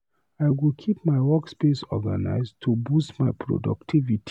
I go keep my workspace organized to boost my productivity.